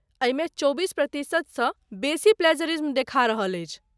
एहिमे चौबीस प्रतिशतसँ बेसी प्लेजरिज्म देखा रहल अछि।